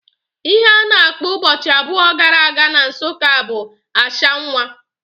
Ihe a na-akpọ ụbọchị abụọ gara aga na Nsụka bụ ashwanwa